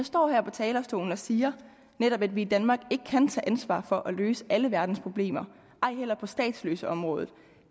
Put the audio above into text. står her på talerstolen og siger netop at vi i danmark ikke kan tage ansvaret for at løse alle verdens problemer ej heller på statsløseområdet